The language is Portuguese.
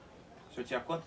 O senhor tinha quanto?